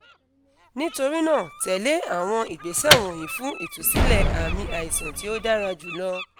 nitorinaa tẹle awọn igbesẹ wọnyi fun itusilẹ aami aisan ti o dara julọ